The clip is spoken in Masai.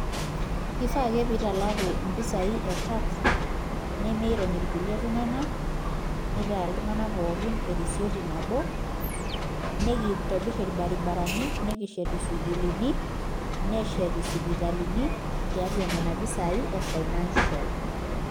Kifaa ake pee italaku mpisaai e tax nemiirony kulie tung'anak nitaa iltung'anak pookin erisioti nabo nekintobirr irbaribarani nekishet isukuulini neshet isipitalini tiatua nena pisaai e financial